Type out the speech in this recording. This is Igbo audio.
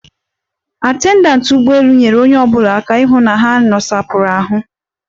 Atendantị ụgbọelu nyeere onye ọbụla aka ịhụ na ha nosapụrụ ahụ.